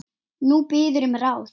Þú biður um ráð.